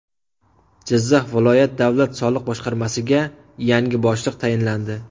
Jizzax viloyat davlat soliq boshqarmasiga yangi boshliq tayinlandi.